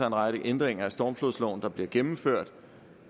en række ændringer af stormflodsloven der bliver gennemført